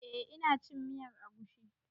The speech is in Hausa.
Eh ina cin miyar agushi.